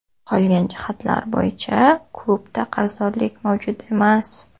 Qolgan jihatlar bo‘yicha klubda qarzdorliklar mavjud emas.